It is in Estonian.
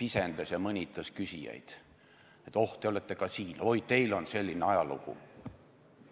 pisendas ja mõnitas küsijaid, et oh, te olete ka siin, oi, teil on selline ajalugu.